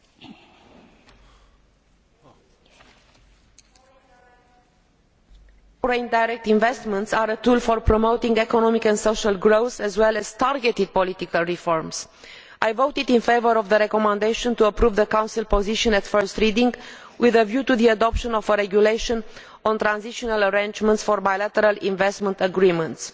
Mr President, .direct investments are a tool for promoting economic and social growth, as well as targeted political reforms. I voted in favour of the recommendation to approve the Council position at first reading with a view to the adoption of a regulation on transitional arrangements for bilateral investment agreements